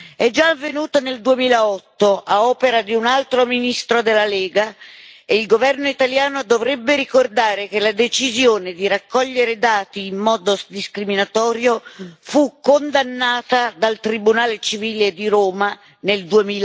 È già avvenuta nel 2008 a opera di un altro ministro della Lega e il governo italiano dovrebbe ricordare che la decisione di raccogliere dati in modo discriminatorio fu condannata dal Tribunale civile di Roma nel